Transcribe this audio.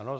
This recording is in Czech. Ano.